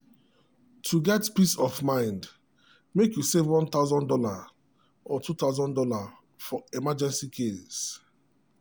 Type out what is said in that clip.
to get peace of mind make you save one thousand dollars or two thousand dollars for emergency case.